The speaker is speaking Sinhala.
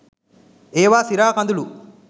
ඒවා සිරා කඳුළු.